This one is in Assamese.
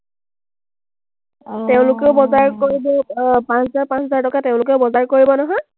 তেওঁলোকেও বজাৰ কৰিব আহ পাঁচ হাজাৰ, পাঁচ হাজাৰ টকা তেওঁলোকে বজাৰ কৰিব নহয়,